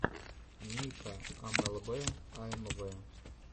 ника эмэлбэ аэмвэ